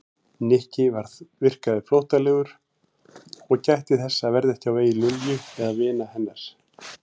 Nikki virkaði flóttalegur og gætti þess að verða ekki á vegi Lilju eða vina hennar.